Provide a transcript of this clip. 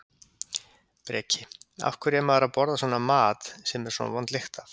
Breki: Af hverju er maður að borða svona mat sem er svona vond lykt af?